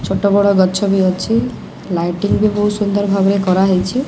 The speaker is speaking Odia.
ଛୋଟ ବଡ ଗଛବି ଅଛି ଲାଇଟିଙ୍ଗ ବହୁତ ସୁନ୍ଦର ଭାବରେ କରାହେଇଛି।